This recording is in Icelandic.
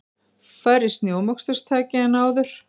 Færri snjómoksturstæki en áður